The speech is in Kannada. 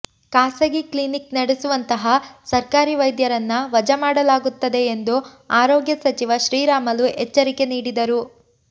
ಖಾಸಗಿ ಕ್ಲೀನಿಕ್ ನಡೆಸುವಂತಹ ಸರ್ಕಾರಿ ವೈದ್ಯರನ್ನ ವಜಾ ಮಾಡಲಾಗುತ್ತದೆ ಎಂದು ಆರೋಗ್ಯ ಸಚಿವ ಶ್ರೀರಾಮುಲು ಎಚ್ಚರಿಕೆ ನೀಡಿದರು